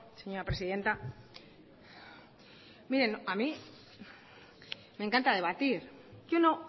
señora presidenta miren a mí me encanta debatir yo no